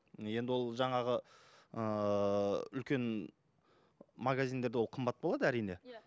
енді ол жаңағы ыыы үлкен магазиндерде ол қымбат болады әрине иә